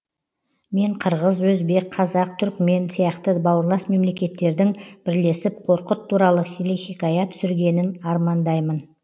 мен қырғыз өзбек қазақ түрікмен сияқты бауырлас мемлекеттердің бірлесіп қорқыт туралы телехикая түсіргенін армандаймын